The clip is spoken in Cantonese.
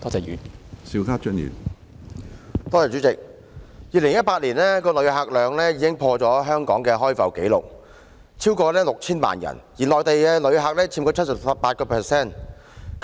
2018年的旅客量已經破了香港的開埠紀錄，有超過6000萬人次，而內地旅客佔 78%。